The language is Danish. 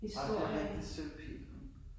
Ej men det rigtigt. Sølvpil